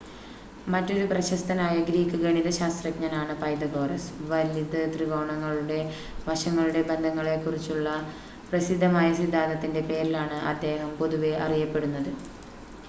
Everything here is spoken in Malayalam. മറ്റൊരു പ്രശസ്തനായ ഗ്രീക്ക് ഗണിതശാസ്ത്രജ്ഞനാണ് പൈതഗോറസ് വലത് ത്രികോണങ്ങളുടെ വശങ്ങളുടെ ബന്ധങ്ങളെ കുറിച്ചുള്ള പ്രസിദ്ധമായ സിദ്ധാന്തത്തിൻ്റെ പേരിലാണ് അദ്ദേഹം പൊതുവെ അറിയപ്പെടുന്നത്